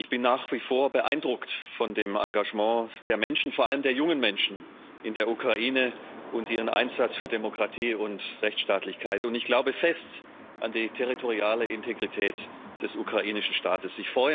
Ich bin nach wie vor beeindruckt von dem Engagement der Menschen, vor allem der jungen Menschen, in der Ukraine und ihrem Einsatz für Demokratie und Rechtsstaatlichkeit, und ich glaube fest an die territoriale Integrität des ukrainischen Staates.